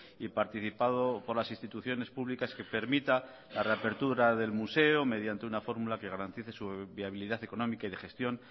y participado por las instituciones públicas que permita la reapertura del museo mediante una fórmula que garantice su viabilidad económica y de gestión